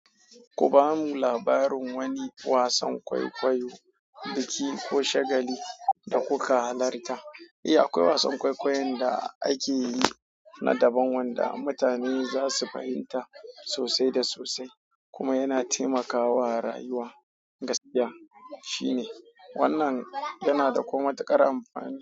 Ku ba mu labarin wani wasan kwaikwayo, biki ko shagali da kuka halarta. Eh akwai wasan kwaikwayon da ake yi na daban wanda mutane za su fahimta sosai da sosai kuma yana taimakawa rayuwa gaskiya shine wannan yana da kuma ma tuƙar amfani.